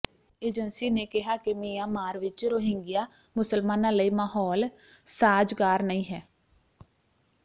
agency ਨੇ ਕਿਹਾ ਕਿ ਮਿਆਂਮਾਰ ਵਿੱਚ ਰੋਹਿੰਗਿਆ ਮੁਸਲਮਾਨਾਂ ਲਈ ਮਾਹੌਲ ਸਾਜ਼ਗਾਰ ਨਹੀਂ ਹੈ